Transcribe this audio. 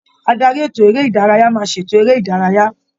Adarí ètò eré-ìdárayá máa ṣètò eré ìdárayá.